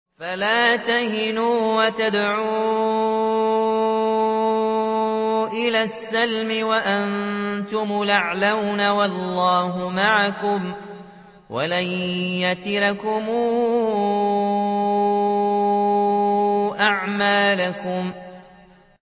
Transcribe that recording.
فَلَا تَهِنُوا وَتَدْعُوا إِلَى السَّلْمِ وَأَنتُمُ الْأَعْلَوْنَ وَاللَّهُ مَعَكُمْ وَلَن يَتِرَكُمْ أَعْمَالَكُمْ